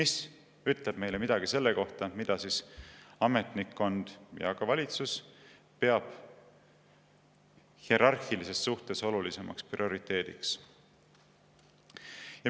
See ütleb meile midagi selle kohta, mida ametnikkond ja ka valitsus peab hierarhilises suhtes olulisemaks prioriteediks.